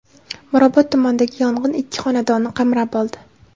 Mirobod tumanidagi yong‘in ikki xonadonni qamrab oldi.